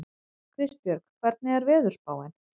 Kristbjörg, hvernig er veðurspáin?